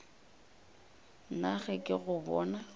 nna ge ke go bona